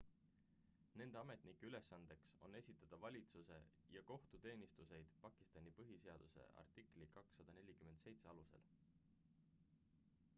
nende ametnike ülesandeks on esitada valitsuse ja kohtuteenuseid pakistani põhiseaduse artikli 247 alusel